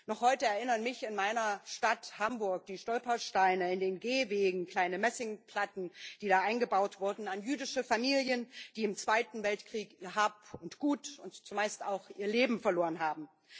Noch heute erinnern mich in meiner Stadt Hamburg die Stolpersteine in den Gehwegen kleine Messingplatten, die da eingebaut wurden an jüdische Familien, die im Zweiten Weltkrieg ihr Hab und Gut und zumeist auch ihr Leben verloren haben.